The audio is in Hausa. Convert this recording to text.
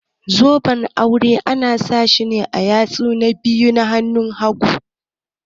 Zoben aure ana sawa ne a yatsu na biyu na hanun hagu.